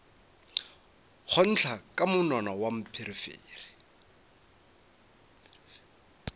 nkgotla ka monwana wa pherefere